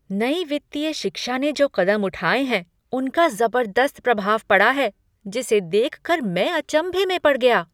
नई वित्तीय शिक्षा ने जो कदम उठाए हैं, उनका ज़बरदस्त प्रभाव पड़ा है जिसे देख कर मैं अचंभे में पड़ गया!